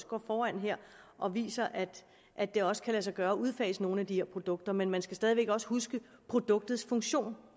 går foran her og viser at det også kan lade sig gøre at udfase nogle af de her produkter men man skal stadig væk også huske produktets funktion